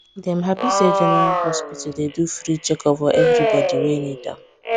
dem happy say general hospital dey do free checkup for everybody wey need am